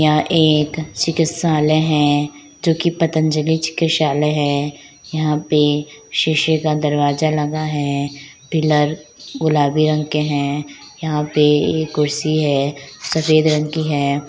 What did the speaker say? यहाँ एक चिकित्सालय हैं जो कि पतंजलि चिकित्सालय है यहाँ पे शीशे का दरवाजा लगा है पिलर गुलाबी रंग के हैं। यहाँ पर ये कुर्सी है सफेद रंग की है।